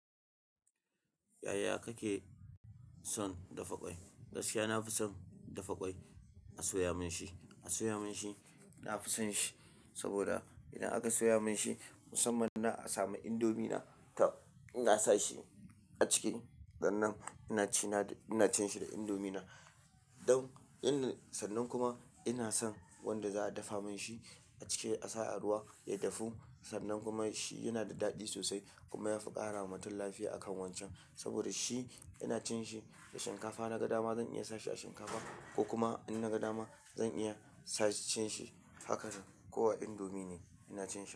Yaya kake son dafa ƙwai? Gaskiya, na fi son dafa ƙwai a soya mun shi, a soya mun shi na fi son shi. Saboda idan aka soya mun shi, musamman na a samu indomie na ta in na sa shi a ciki, sannan ina cina d-- ina cin shi da indomie na. Don in-- sannan kuma ina son wanda za a dafa mun shi a ciki a sa a ruwa ya dafu. Sannan kuma shi yana da daɗi sosai kuma ya saboda shi ina cin shi da shinkafa naga dama zan iya sa shi a shinkafa ko kuma in naga dama zan iya sa cin shi haka ko a indomie ne ina cin shi.